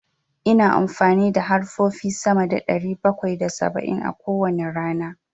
Ina amfani da harfofi sama da ɗari bakwai da saba'in a kowane rana.